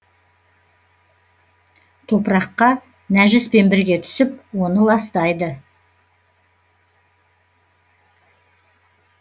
топыраққа нәжіспен бірге түсіп оны ластайды